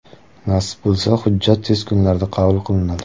Nasib bo‘lsa hujjat tez kunlarda qabul qilinadi.